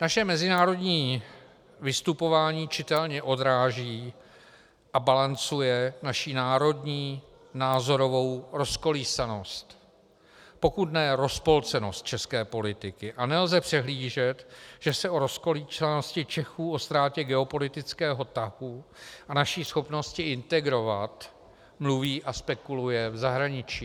Naše mezinárodní vystupování čitelně odráží a balancuje naši národní názorovou rozkolísanost, pokud ne rozpolcenost české politiky a nelze přehlížet, že se o rozkolísanosti Čechů, o ztrátě geopolitického tahu a naší schopnosti integrovat mluví a spekuluje v zahraničí.